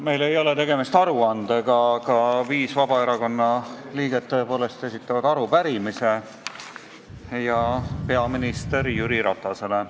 Meil ei ole tegemist aruandega, aga viis Vabaerakonna liiget esitavad tõepoolest arupärimise peaminister Jüri Ratasele.